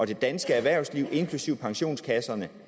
det danske erhvervsliv inklusive pensionskasserne